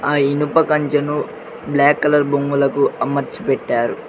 ఆ ఇనుప కంచెను బ్లాక్ కలర్ బొంగులకు అమర్చ పెట్టారు.